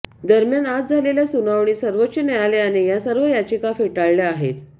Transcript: दरम्यान आज झालेल्या सुनावणीत सर्वोच्च न्यायालयाने या सर्व याचिका फेटाळल्या आहेत